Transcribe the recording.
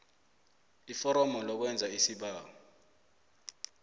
iforomo lokwenza isibawo